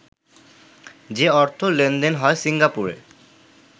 যে অর্থ লেনদেন হয় সিঙ্গাপুরে